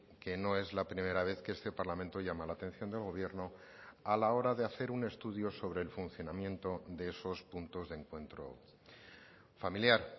que no es la primera vez que este parlamento llama la atención del gobierno a la hora de hacer un estudio sobre el funcionamiento de esos puntos de encuentro familiar